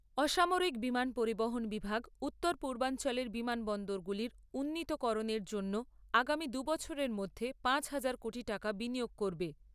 অসমারিক বিমান পরিবহন বিভাগ উত্তর পূর্বাঞ্চলের বিমানবন্দরগুলির উন্নীতকরণের জন্য আগামী দুবছরের মধ্যে পাঁচ হাজার কোটি টাকা বিনিয়োগ করবে।